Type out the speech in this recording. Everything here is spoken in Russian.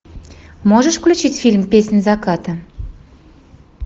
можешь включить фильм песнь заката